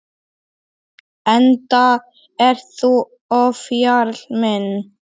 Enda ert þú ofjarl minn.